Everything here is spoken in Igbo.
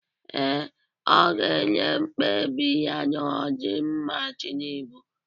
Ee, ọ ga-enye mkpebi ya n'ọdịmma Tinubụ.